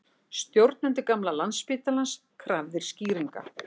Stjórnendur gamla Landsbankans krafðir skýringa